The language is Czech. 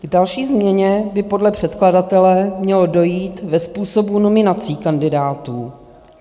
K další změně by podle předkladatele mělo dojít ve způsobu nominací kandidátů.